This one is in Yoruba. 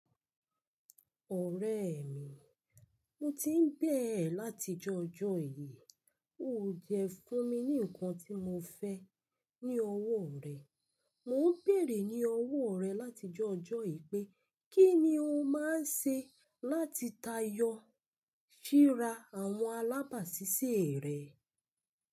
Ọ̀rẹ́ mi, mo ti ń bẹ̀ẹ̀ ẹ́ láti ojó ọjọ́ yìí. Ó jẹ fún mi ní ǹkan tí mo fẹ́ ní ọwọ́ rẹ. Mo ń bèèrè ní ọwọ́ rẹ láti ojó ọjọ́ yìí pé kí ni o máa ń ṣe láti tayọ síra àwọn alábàásisẹ́ rẹ?